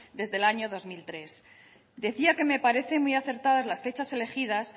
desde el año dos mil tres decía que me parece muy acertadas las fechas elegidas